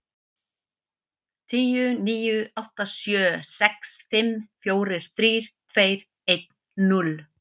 Tíu, níu, átta, sjö, sex, fimm, fjórir, þrír, tveir, einn, núll.